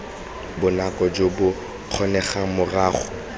bonako jo bo kgonegang morago